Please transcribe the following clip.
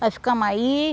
Nós ficamos aí.